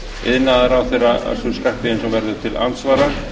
iðnaðarráðherra össur skarphéðinsson verður til andsvara